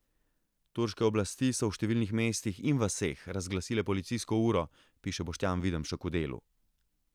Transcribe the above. Turške oblasti so v številnih mestih in vaseh razglasile policijsko uro, piše Boštjan Videmšek v Delu.